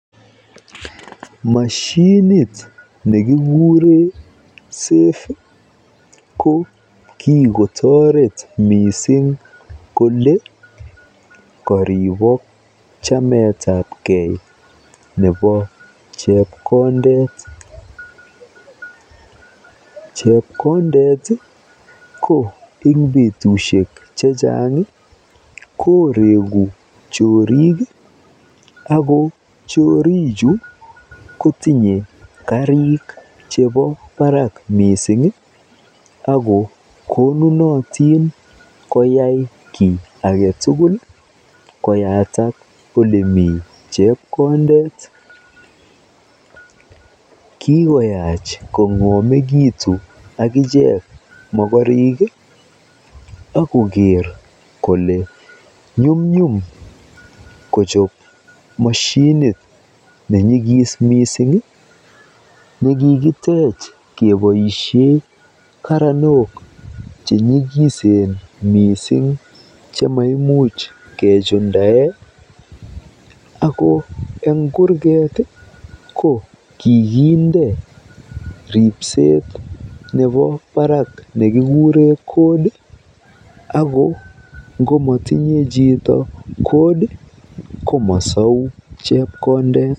Moshinit nekikure Safe ko kikotoret kokeer kole koribok chametapkei nebo chepkondet. Chepkondet ko eng betusiek chechang koreeku choriik ako choorik kotinye kariik chebo barak mising ako konunot koyak kiit ake tugul koyatak olemi chepkondet. Kikoyach kong'omekitu akicheek mokorik akoker kole nyumnyum kochob moshinit nenyikis mising nekikitech keboisie karanok chenyikisen miising chemaimuch kejundae ako eng kurket ko kikinde ripseet nebo baraak nekikure Code ako ngomotinye chito Code komosou chepkondet.